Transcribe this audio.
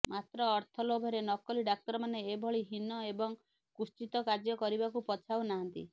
ମାତ୍ର ଅର୍ଥ ଲୋଭରେ ନକଲି ଡ଼ାକ୍ତରମାନେ ଏଭଳି ହୀନଏବଂ କୁତ୍ସିତ କାର୍ଯ୍ୟ କରିବାକୁ ପଛାଉନାହାନ୍ତି